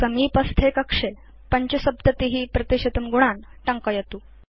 समीपस्थे कक्षे 75 गुणान् टङ्कयतु